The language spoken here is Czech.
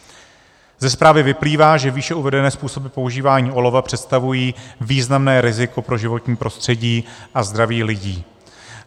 Ze zprávy vyplývá, že výše uvedené způsoby používání olova představují významné riziko pro životní prostředí a zdraví lidí.